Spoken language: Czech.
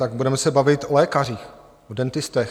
Tak budeme se bavit o lékařích, o dentistech.